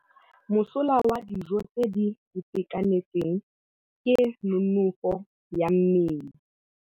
Mosola wa dijô tse di itekanetseng ke nonôfô ya mmele.